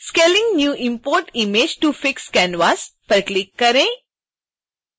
scaling new imported image to fix canvas विकल्प पर click करें